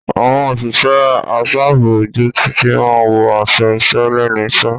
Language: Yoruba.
Àwọn òṣìṣẹ́ aṣààbò ojú títì máa wọ aṣọ iṣẹ́ lẹ́nu iṣẹ́.